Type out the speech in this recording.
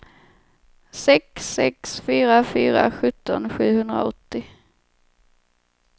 sex sex fyra fyra sjutton sjuhundraåttio